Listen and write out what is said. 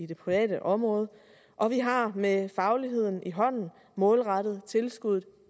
det private område og vi har med fagligheden i hånden målrettet tilskuddet